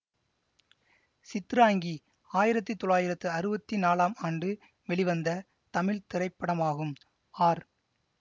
சித்ராங்கி ஆயிரத்தி தொள்ளாயிரத்து அறுவத்தி நாலாம் ஆண்டு வெளிவந்த தமிழ் திரைப்படமாகும் ஆர்